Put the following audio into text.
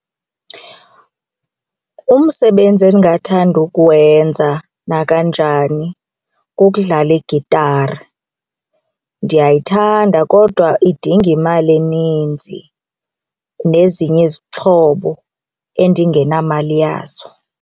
Umsebenzi endingathanda ukuwenza nakanjani kukudlala igitari. Ndiyayithanda kodwa idinga imali eninzi nezinye izixhobo endingenamali yazo.